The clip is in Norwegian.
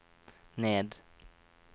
ned